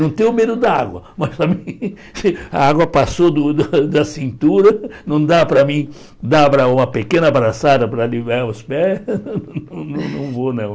Não tenho medo da água, mas também a água passou do da cintura, não dá para mim dar uma pequena braçada para aliviar os pés, não não vou não.